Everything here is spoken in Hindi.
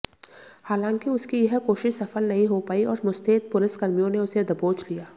हालांकि उसकी यह कोशिश सफल नहीं हो पाई और मुस्तैद पुलिसकर्मियों ने उसे दबोच लिया